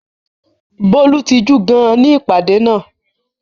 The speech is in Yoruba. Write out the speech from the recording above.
Bólú tijú gidi gan-an ní ìpàdé náà.